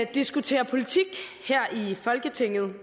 diskuterer politik her i folketinget er